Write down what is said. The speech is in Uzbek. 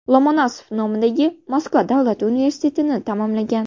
Lomonosov nomidagi Moskva Davlat universitetini tamomlagan.